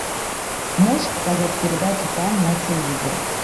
можешь показать передачу фан на телевизоре